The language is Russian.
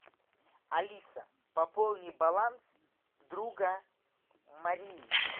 алиса пополни баланс друга марии